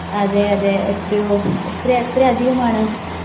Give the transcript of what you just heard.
അതെയതെ എത്രയോ? എത്രയെത്ര അധികമാണ്?